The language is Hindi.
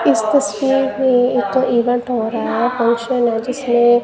इस तस्वीर में एक इवेंट हो रहा है फंक्शन है जिसमें--